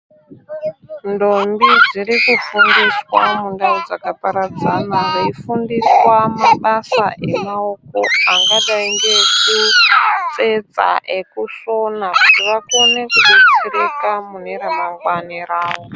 Ndombi dzirikufundiswa mundau dzakaparadzana, veifundiswa mabasa emaoko angadai ngeekutsetsa, neekusona kuti vakone kubetsereka mune ramangwani rawo.